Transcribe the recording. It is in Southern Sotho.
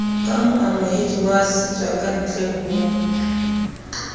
ka moamohedi wa setswakantle ho